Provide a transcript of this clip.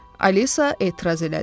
Alisa etiraz elədi.